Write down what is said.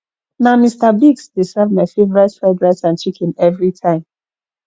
na mr biggs dey serve my favorite fried rice and chicken every time